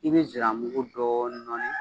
I bɛ ziramugu dɔɔnin nɔni.